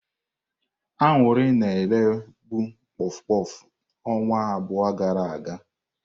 Aṅụrị na eré bụ kpof kpof ọnwa abụọ gara aga.